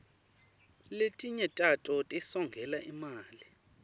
letinye tato tisongela imali